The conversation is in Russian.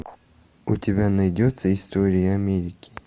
у тебя найдется история америки